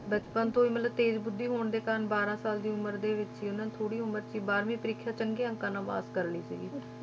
ਬਚਪਨ ਤੋਂ ਹੀ ਮਤਲਬ ਤੇਜ਼ ਬੁੱਧੀ ਹੋਣ ਦੇ ਕਾਰਨ ਬਾਰਾਂ ਸਾਲ ਦੀ ਉਮਰ ਦੇ ਵਿੱਚ ਹੀ ਉਹਨਾਂ ਨੇ ਥੋੜ੍ਹੀ ਉਮਰ 'ਚ ਹੀ ਬਾਰਵੀਂ ਪ੍ਰੀਖਿਆ ਚੰਗੇ ਅੰਕਾਂ ਨਾਲ ਪਾਸ ਕਰ ਲਈ ਸੀਗੀ